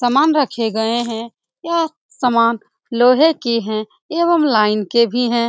सामान रखे गए हैं यह सामान लोहे के हैं एवं लाइन के भी है।